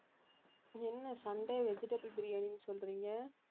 என்ன Sunday vegetable biryani ன்னு சொல்றீங்க